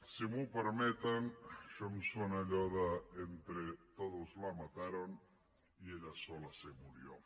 si m’ho permeten això em sona a allò de entre todos la mataron y ella sola se murió